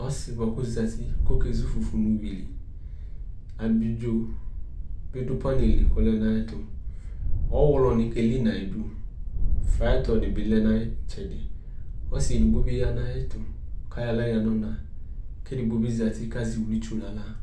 Ɔsɩ yɛ bʋa kʋ ɔzati kʋ ɔkezu fufui nʋ iyui li Abidzo bɩ dʋ panɩ li kʋ ɔdʋ ayɛtʋ Ɔɣlɔnɩ keli nʋ ayidu Fayɩtɔ dɩ bɩ lɛ nʋ ayɩtsɛdɩ Ɔsɩ edigbo bɩ ya nʋ ayɛtʋ kʋ ayɔ aɣla yǝ nʋ ɔna kʋ edigbo bɩ zati kʋ azɛ iwluitsu nʋ aɣla